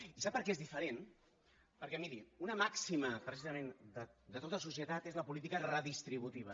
i sap per què és diferent perquè miri una màxima precisament de tota societat és la política redistributiva